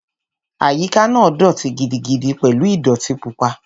Àyíká náà dọ̀ọ̀tí gidigidi pẹ̀lú ìdọ̀ọ̀tí pupa